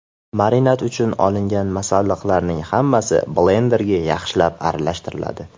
Marinad uchun olingan masalliqlarning hammasi blenderda yaxshilab aralashtiriladi.